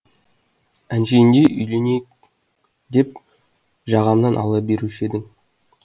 әшейінде үйленейік деп жағамнан ала беруші еді